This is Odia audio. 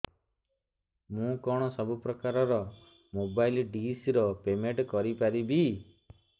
ମୁ କଣ ସବୁ ପ୍ରକାର ର ମୋବାଇଲ୍ ଡିସ୍ ର ପେମେଣ୍ଟ କରି ପାରିବି